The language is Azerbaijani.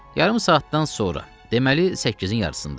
Yarım saatdan sonra, deməli, səkkizin yarısında.